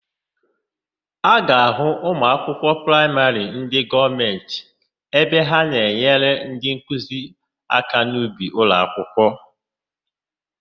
A ga-ahụ ụmụakwụkwọ praịmarị ndị gọọmentị ebe ha na-enyere ndịnkuzi aka n'ubi ụlọakwụkwọ.